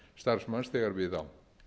þegar við á